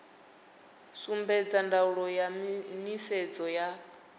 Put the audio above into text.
sumbedza ndaulo ya nisedzo ya